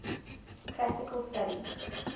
classical studies